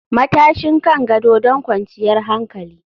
Matashin kan gado don kwanciyar hankali